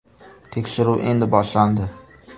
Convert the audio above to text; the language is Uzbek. Tekshiruv endi boshlandi”.